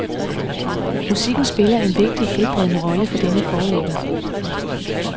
Musikken spiller en vigtig helbredende rolle for denne forlægger.